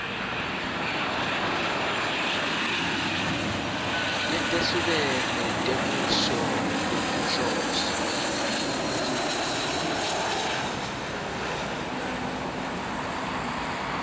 letehlukene temisho ngekwetinhloso